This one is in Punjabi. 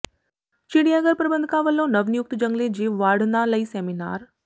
ਚਿੜੀਆਘਰ ਪ੍ਰਬੰਧਕਾਂ ਵਲੋਂ ਨਵਨਿਯੁਕਤ ਜੰਗਲੀ ਜੀਵ ਵਾਰਡਨਾਂ ਲਈ ਸੈਮੀਨਾਰ